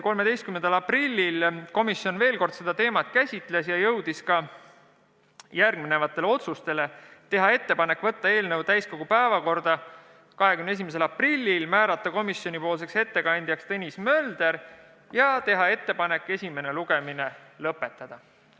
13. aprillil komisjon käsitles seda teemat veel kord ja langetas järgmised otsused: teha ettepanek võtta eelnõu täiskogu päevakorda 21. aprilliks, määrata ettekandjaks Tõnis Mölder ja teha ettepanek esimene lugemine lõpetada.